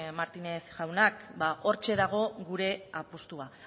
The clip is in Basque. martínez jaunak ba hortxe dago gure apustua